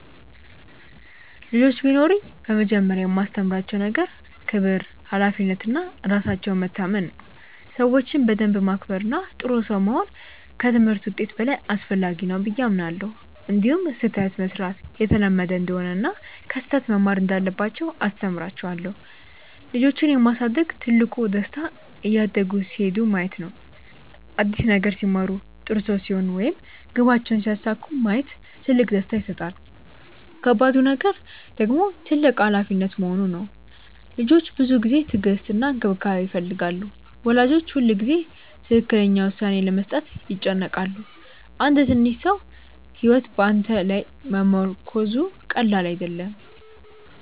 ልጆች ቢኖሩኝ በመጀመሪያ የማስተምራቸው ነገር ክብር፣ ሀላፊነት እና ራሳቸውን መታመን ነው። ሰዎችን በደንብ ማክበር እና ጥሩ ሰው መሆን ከትምህርት ውጤት በላይ አስፈላጊ ነው ብዬ አምናለሁ። እንዲሁም ስህተት መሥራት የተለመደ እንደሆነ እና ከስህተት መማር እንዳለባቸው አስተምራቸዋለሁ። ልጆችን የማሳደግ ትልቁ ደስታ እያደጉ ሲሄዱ ማየት ነው። አዲስ ነገር ሲማሩ፣ ጥሩ ሰው ሲሆኑ ወይም ግባቸውን ሲያሳኩ ማየት ትልቅ ደስታ ይሰጣል። ከባዱ ነገር ደግሞ ትልቅ ሀላፊነት መሆኑ ነው። ልጆች ብዙ ጊዜ፣ ትዕግስት እና እንክብካቤ ይፈልጋሉ። ወላጆች ሁልጊዜ ትክክለኛ ውሳኔ ለመስጠት ይጨነቃሉ። አንድ ትንሽ ሰው ሕይወት በአንተ ላይ መመርኮዙ ቀላል አይደለም።